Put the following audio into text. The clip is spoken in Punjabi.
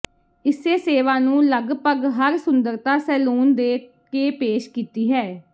ਇਸੇ ਸੇਵਾ ਨੂੰ ਲਗਭਗ ਹਰ ਸੁੰਦਰਤਾ ਸੈਲੂਨ ਦੇ ਕੇ ਪੇਸ਼ ਕੀਤੀ ਹੈ